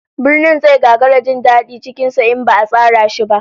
Birni zai gagara jin dadi cikin sa in ba'a tsara shi ba